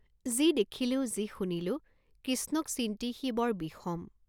যি দেখিলো, যি শুনিলো কিষ্ণক চিন্তি সি বৰ বিষম।